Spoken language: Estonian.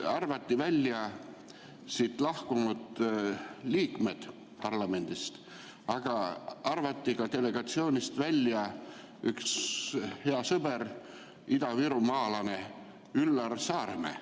Arvati välja parlamendist lahkunud liikmed, aga delegatsioonist arvati välja ka üks hea sõber, idavirumaalane Üllar Saaremäe.